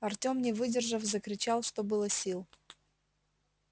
артём не выдержав закричал что было сил